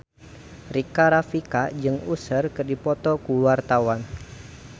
Rika Rafika jeung Usher keur dipoto ku wartawan